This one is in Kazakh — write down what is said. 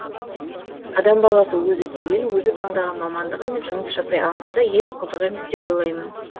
адам баласы өзі сүйген өзі таңдаған мамандығымен жұмыс жасай алмаса еш қызық емес деп ойлаймын